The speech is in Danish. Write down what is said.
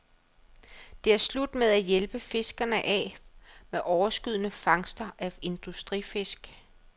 Det er slut med at hjælpe fiskerne af med overskydende fangster af industrifisk.